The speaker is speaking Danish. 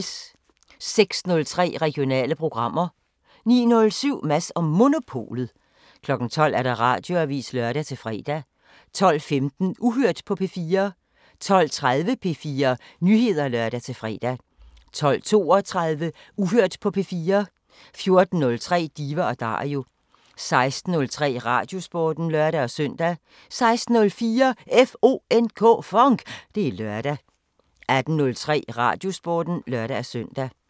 06:03: Regionale programmer 09:07: Mads & Monopolet 12:00: Radioavisen (lør-fre) 12:15: Uhørt på P4 12:30: P4 Nyheder (lør-fre) 12:32: Uhørt på P4 14:03: Diva & Dario 16:03: Radiosporten (lør-søn) 16:04: FONK! Det er lørdag 18:03: Radiosporten (lør-søn)